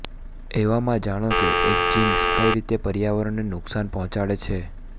એવામાં જાણો કે એક જીન્સ કઇ રીતે પર્યાવરણને નુક્શાન પહોંચાડે છે